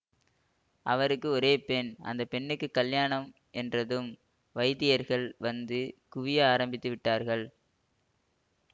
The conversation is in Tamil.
அவருக்கு ஒரே பெண் அந்த பெண்ணுக்குக் கல்யாணம் என்றதும் வைதிகர்கள் வந்து குவிய ஆரம்பித்து விட்டார்கள்